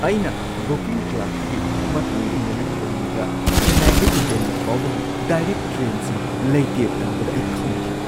ꯑꯩꯅ ꯕꯨꯀꯤꯡ ꯀ꯭ꯂꯔꯛꯇꯒꯤ ꯃꯊꯪꯒꯤ ꯅꯨꯃꯤꯠ ꯍꯨꯝꯅꯤꯗ ꯆꯦꯟꯅꯥꯢꯗꯒꯤ ꯗꯦꯜꯂꯤ ꯐꯥꯎꯕꯒꯤ ꯗꯥꯢꯔꯦꯛ ꯇ꯭ꯔꯦꯟꯁꯤꯡ ꯂꯩꯇꯦ ꯇꯥꯕꯗ ꯑꯩ ꯈꯪꯈꯤ꯫